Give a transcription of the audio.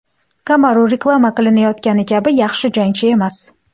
Kamaru reklama qilinayotgani kabi yaxshi jangchi emas.